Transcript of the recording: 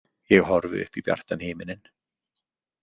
Ég horfi upp í bjartan himininn.